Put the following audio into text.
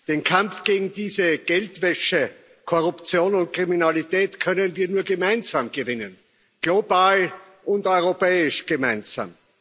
Den Kampf gegen diese Geldwäsche, Korruption und Kriminalität können wir nur gemeinsam gewinnen global und europäisch gemeinsam.